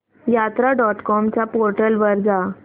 यात्रा dot com च्या portal वर जा